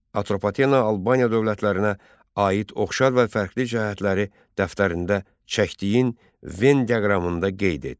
Atropatena Albaniya dövlətlərinə aid oxşar və fərqli cəhətləri dəftərində çəkdiyin Ven diaqramında qeyd et.